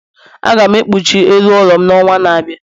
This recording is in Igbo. Aga m ekpuchi elu ụlọ m n'ọnwa na-abịa